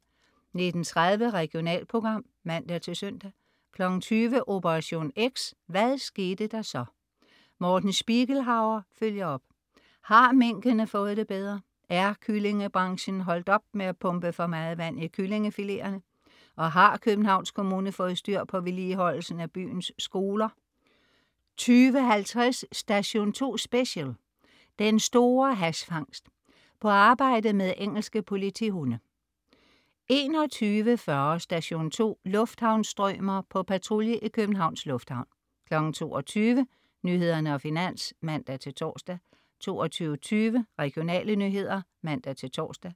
19.30 Regionalprogram (man-søn) 20.00 Operation X: Hvad skete der så? Morten Spiegelhauer følger op. Har minkene fået det bedre? Er kyllingebranchen holdt op med at pumpe for meget vand i kyllingefileterne? Og har Københavns Kommune fået styr på vedligeholdelsen af byens skoler? 20.50 Station 2 Special: Den store hash-fangst. På arbejde med engelske politihunde 21.40 Station 2: Lufthavnsstrømer. På patrulje i Københavns Lufthavn 22.00 Nyhederne og Finans (man-tors) 22.20 Regionale nyheder (man-tors)